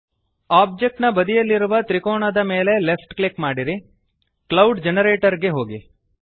object ನ ಬದಿಯಲ್ಲಿರುವ ತ್ರಿಕೋನದ ಮೇಲೆ ಲೆಫ್ಟ್ ಕ್ಲಿಕ್ ಮಾಡಿರಿ160 ಕ್ಲೌಡ್ ಜನರೇಟರ್ ಗೆ ಹೋಗಿ